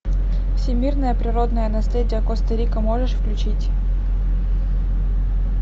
всемирное природное наследие коста рика можешь включить